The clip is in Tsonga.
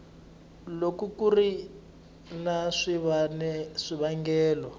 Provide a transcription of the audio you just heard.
loko ku ri na swivangelo